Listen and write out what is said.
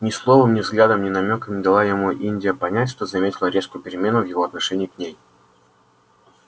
ни словом ни взглядом ни намёком не дала ему индия понять что заметила резкую перемену в его отношении к ней